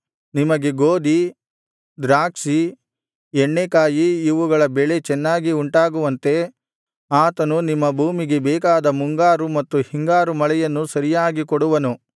ನಿಮಗೆ ಗೋದಿ ದ್ರಾಕ್ಷಿ ಎಣ್ಣೇಕಾಯಿ ಇವುಗಳ ಬೆಳೆ ಚೆನ್ನಾಗಿ ಉಂಟಾಗುವಂತೆ ಆತನು ನಿಮ್ಮ ಭೂಮಿಗೆ ಬೇಕಾದ ಮುಂಗಾರು ಮತ್ತು ಹಿಂಗಾರು ಮಳೆಯನ್ನು ಸರಿಯಾಗಿ ಕೊಡುವನು